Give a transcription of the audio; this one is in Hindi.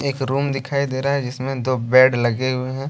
एक रूम दिखाई दे रहा है जिसमें दो बेड लगे हुए हैं।